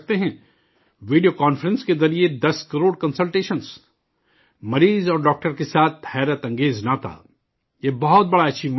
Video conference کے ذریعے 10 crore consultations! مریض اور ڈاکٹر کے ساتھ شاندار ناطہ یہ بہت بڑی اچیومنٹ ہے